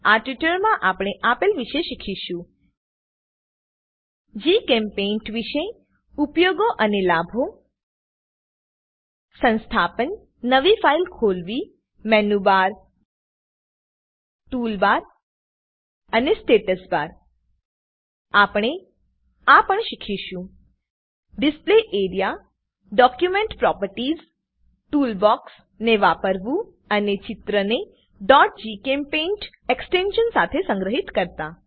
આ ટ્યુટોરીયલમાં આપણે આપેલ વિશે શીખીશું જીચેમ્પેઇન્ટ વિષે ઉપયોગો અને લાભો સંસ્થાપન નવી ફાઈલ ખોલવી મેનુબર ટૂલબાર અને સ્ટેટસ બાર આપણે આ પણ શીખીશું display AREA document properties tool box ને વાપરવું અને ચિત્રને gchempaint એક્સ્ટેંશન સાથે સંગ્રહિત કરતા